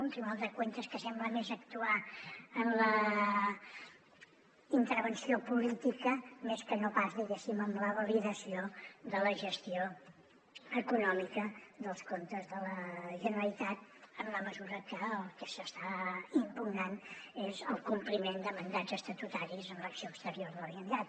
un tribunal de cuentasla intervenció política més que no pas diguéssim en la validació de la gestió econòmica dels comptes de la generalitat en la mesura que el que s’està impugnant és el compliment de mandats estatutaris en l’acció exterior de la generalitat